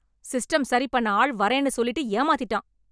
System சரிபண்ண ஆள் வர்றேன்னு சொல்லிட்டு ஏமாத்திட்டான்.